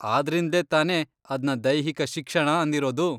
ಆದ್ರಿಂದ್ಲೇ ತಾನೇ ಅದ್ನ ದೈಹಿಕ ಶಿಕ್ಷಣ ಅಂದಿರೋದು.